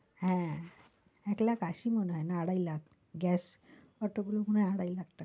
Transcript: হ্যাঁ এক লাখ আশি মনে হয় না আড়াই লাখ, গ্যাস অটো গুলো মনে হয় আড়াই লাখ টাকা।